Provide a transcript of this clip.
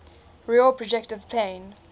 real projective plane